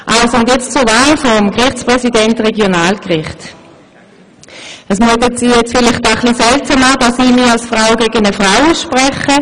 Zur Wahl des Gerichtspräsidenten für das Regionalgericht: Es mutet Sie vielleicht etwas seltsam an, dass ich mich als Frau gegen eine Frau ausspreche.